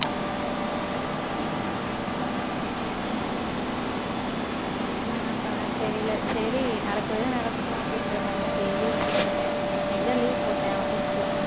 உம் அதான் நான் என்ன பண்றேன்னு தெரியலே. சரி நடக்குது, நடக்கட்டும் அப்படின்ற மாதிரிதான் daily யும் வந்துட்டு இருக்கேன். இன்னைக்குத்தான் leave போட்டேன் office க்கு